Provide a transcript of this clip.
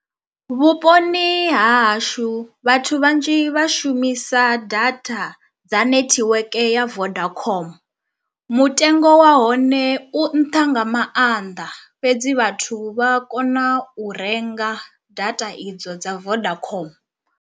Vhuponi ha hashu vhathu vhanzhi vha shumisa data dza netiweke ya vodacom, mutengo wa hone u nṱha nga maanḓa fhedzi vhathu vha kona u renga data idzo dza vodacom.